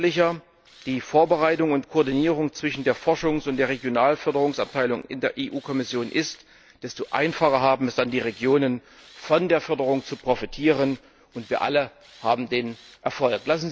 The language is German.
Je gründlicher die Vorbereitung und Koordinierung zwischen der Forschungs und der Regionalförderungsabteilung in der Europäischen Kommission ist, desto einfacher haben es dann die Regionen, von der Förderung zu profitieren, und wir alle haben den Erfolg.